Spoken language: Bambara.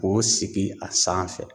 O sigi a sanfɛ